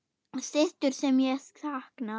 Systur sem ég sakna.